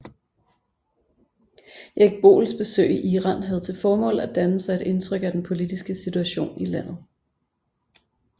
Erik Boels besøg i Iran havde til formål at danne sig et indtryk af den politiske situation i landet